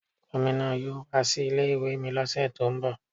Gomina yóò wá sí ilé ìwé mi lọ́sẹ̀ tó ń bọ̀.